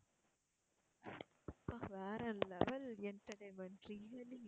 அப்பா வேற level entertainment really